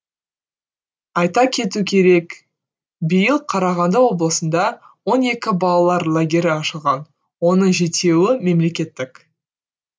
айта кету керек биыл қарағанды облысында он екі балалар лагері ашылған оның жетеуі мемлекеттік